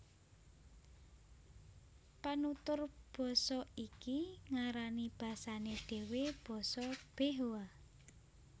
Panutur basa iki ngarani basané dhéwé basa Behoa